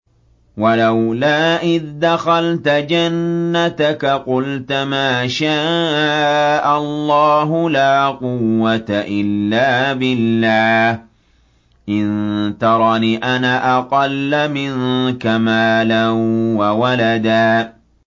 وَلَوْلَا إِذْ دَخَلْتَ جَنَّتَكَ قُلْتَ مَا شَاءَ اللَّهُ لَا قُوَّةَ إِلَّا بِاللَّهِ ۚ إِن تَرَنِ أَنَا أَقَلَّ مِنكَ مَالًا وَوَلَدًا